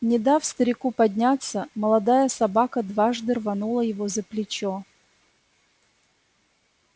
не дав старику подняться молодая собака дважды рванула его за плечо